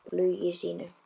Og hún leynir flugi sínu.